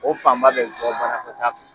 O fan ba be bɔ banakɔ taa fɛ